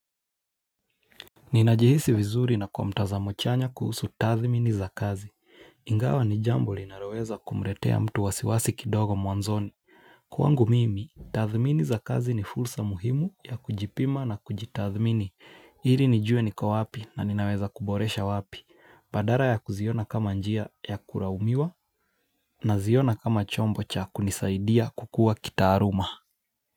Ninajihisi vizuri na kwa mtazamo chanya kuhusu tathimini za kazi, ingawa ni jambo linaloweza kumletea mtu wasiwasi kidogo mwanzoni. Kwangu mimi, tathmini za kazi ni fulsa muhimu ya kujipima na kujitathmini ili nijue niko wapi na ninaweza kuboresha wapi, badala ya kuziona kama njia ya kulaumiwa na ziona kama chombo cha kunisaidia kukuwa kitaaluma.